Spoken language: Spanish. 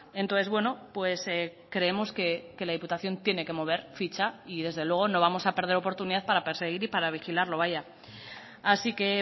entonces bueno creemos que la diputación tiene que mover ficha y desde luego no vamos a perder oportunidad para perseguir y para vigilarlo vaya así que